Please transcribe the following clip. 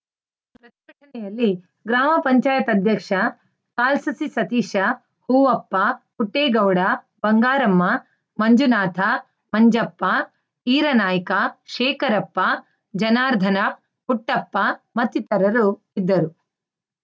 ಗ್ರಾಮ ಪಂಚಾಯತ್ ಅಧ್ಯಕ್ಷ ಕಾಲ್ಸಸಿ ಸತೀಶ ಹೂವಪ್ಪ ಪುಟ್ಟೇಗೌಡ ಬಂಗಾರಮ್ಮ ಮಂಜುನಾಥ ಮಂಜಪ್ಪ ಈರನಾಯ್ಕ ಶೇಖರಪ್ಪ ಜನಾರ್ಧನ ಪುಟ್ಟಪ್ಪ ಮತ್ತಿತರರು ಇದ್ದರು